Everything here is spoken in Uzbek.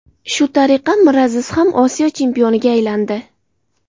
Shu tariqa Miraziz ham Osiyo chempioniga aylandi.